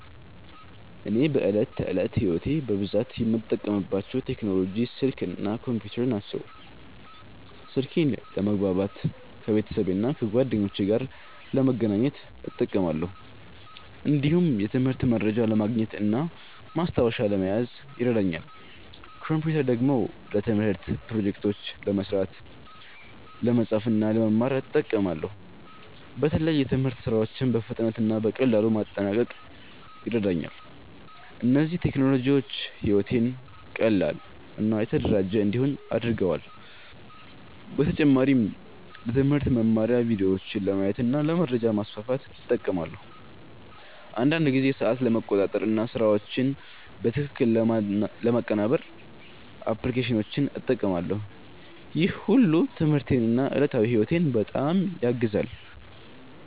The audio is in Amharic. እኔ በዕለት ተዕለት ሕይወቴ በብዛት የምጠቀምባቸው ቴክኖሎጂዎች ስልክ እና ኮምፒውተር ናቸው። ስልኬን ለመግባባት ከቤተሰብና ከጓደኞቼ ጋር ለመገናኘት እጠቀማለሁ። እንዲሁም የትምህርት መረጃ ለማግኘት እና ማስታወሻ ለመያዝ ይረዳኛል። ኮምፒውተር ደግሞ ለትምህርት ፕሮጀክቶች ለመስራት፣ ለመጻፍ እና ለመማር እጠቀማለሁ። በተለይ የትምህርት ሥራዎችን በፍጥነት እና በቀላሉ ለማጠናቀቅ ይረዳኛል። እነዚህ ቴክኖሎጂዎች ሕይወቴን ቀላል እና የተደራጀ እንዲሆን አድርገዋል። በተጨማሪም ለትምህርት መማሪያ ቪዲዮዎችን ለማየት እና ለመረጃ ማስፋፋት እጠቀማለሁ። አንዳንድ ጊዜ ሰዓት ለመቆጣጠር እና ስራዎችን በትክክል ለማቀናበር አፕሊኬሽኖችን እጠቀማለሁ። ይህ ሁሉ ትምህርቴን እና ዕለታዊ ሕይወቴን በጣም ያግዛል።